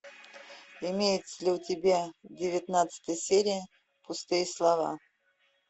имеется ли у тебя девятнадцатая серия пустые слова